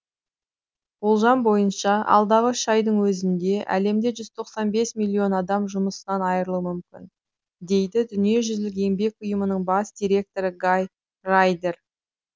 болжам бойынша алдағы үш айдың өзінде әлемде жүз тоқсан бес миллион адам жұмысынан айырылуы мүмкін дейді дүниежүзілік еңбек ұйымының бас директоры гай райдер